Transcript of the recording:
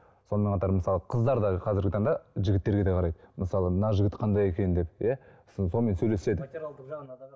сонымен қатар мысалы қыздар да қазіргі таңда жігіттерге де қарайды мысалы мына жігіт қандай екен деп иә сосын сонымен сөйлеседі материалдық жағына қарап